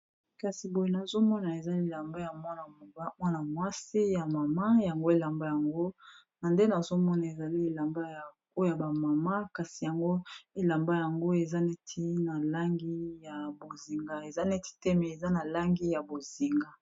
kasi boye nazomona ezai lelamba ya mwana mwasi ya mama yango elamba yango na nde nazomona ezali elamba oya bamama kasi yango elamba yango eza neti na langi ya bozinga eza neti te me eza na langi ya bozinga